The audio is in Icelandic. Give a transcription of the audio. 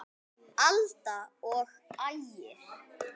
Alda og Ægir.